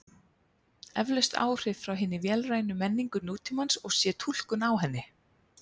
Eflaust áhrif frá hinni vélrænu menningu nútímans og sé túlkun á henni.